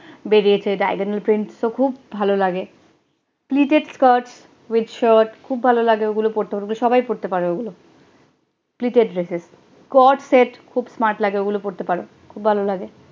বেরিয়েছে diagonal print তো খূব ভালো লাগে, pleated skirts with shirt খুব ভালো লাগে ওগুলো পড়বে সবাই পড়তে পারে ওগুলো, pleated dresses sets খুব smart গুলো পড়তে পারো খুব ভালো লাগে